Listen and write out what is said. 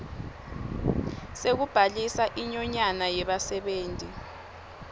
sekubhalisa inyonyane yebasebenti